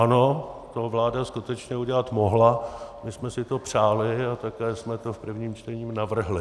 Ano, to vláda skutečně udělat mohla, my jsme si to přáli a také jsme to v prvním čtení navrhli.